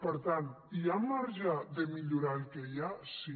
per tant hi ha marge de millorar el que hi ha sí